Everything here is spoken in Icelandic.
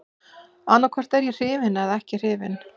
Annaðhvort er ég hrifinn eða ekki hrifinn.